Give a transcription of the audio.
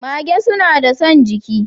Magee suna da son giki.